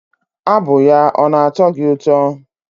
Abụ ya ọ na-atọ gị ụtọ?